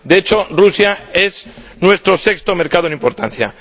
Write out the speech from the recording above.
De hecho, Rusia es nuestro sexto mercado en importancia.